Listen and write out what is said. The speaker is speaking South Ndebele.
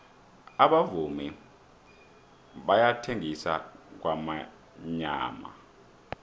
abavumi bayathengisa kwamyamana